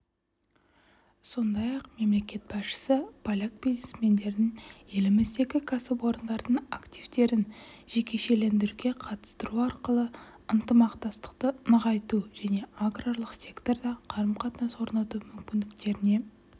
сондай-ақ мемлекет басшысы поляк бизнесмендерін еліміздегі кәсіпорындардың активтерін жекешелендіруге қатыстыру арқылы ынтымақтастықты нығайту және аграрлық секторда қарым-қатынас орнату мүмкіндіктеріне